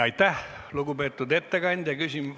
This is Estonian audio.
Aitäh, lugupeetud ettekandja!